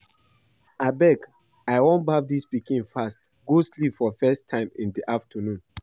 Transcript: Abeg I wan baff dis pikin fast go sleep for first time in the afternoon